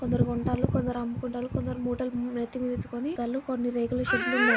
కొందరు కొంటాళ్లు. కొందరు అమ్ముకుంటాళ్లు. కొందరు మూటలు నెత్తిమీద ఎత్తుకొని పోతాళ్లు. కొన్ని రేకుల షెడ్ లు ఉన్నాయి.